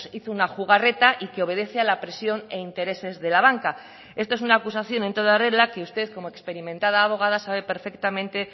hizo una jugarreta y que obedece a la presión e intereses de la banca esto es una acusación en toda regla que usted como experimentada abogada sabe perfectamente